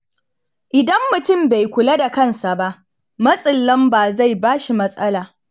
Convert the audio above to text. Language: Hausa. Idan mutum bai kula da kansa ba, matsin lamba zai ba shi matsala.